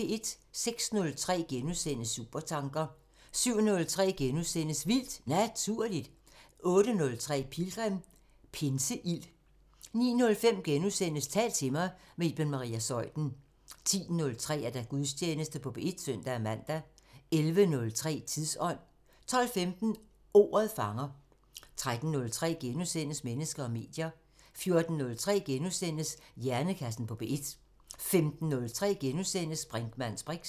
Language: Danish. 06:03: Supertanker * 07:03: Vildt Naturligt * 08:03: Pilgrim – Pinseild 09:05: Tal til mig – med Iben Maria Zeuthen * 10:03: Gudstjeneste på P1 (søn-man) 11:03: Tidsånd 12:15: Ordet fanger 13:03: Mennesker og medier * 14:03: Hjernekassen på P1 * 15:03: Brinkmanns briks *